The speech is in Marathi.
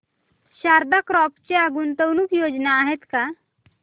शारदा क्रॉप च्या गुंतवणूक योजना आहेत का